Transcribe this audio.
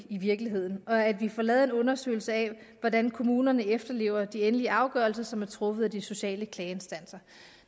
virkeligheden og at vi får lavet en undersøgelse af hvordan kommunerne efterlever de endelige afgørelser som er truffet af de sociale klageinstanser